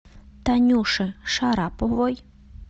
танюше шараповой